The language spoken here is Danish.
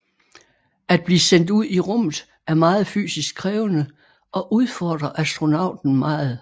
At blive sendt ud i rummet er meget fysisk krævende og udfordrer astronauten meget